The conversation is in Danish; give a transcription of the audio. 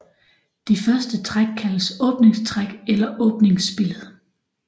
De første træk kaldes åbningstræk eller åbningsspillet